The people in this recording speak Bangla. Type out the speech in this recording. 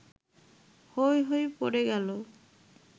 হৈ হৈ পড়ে গেল